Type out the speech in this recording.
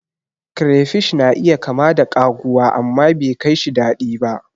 Crayfish na iya kama da kaguwa, amma bekaishi daɗi ba.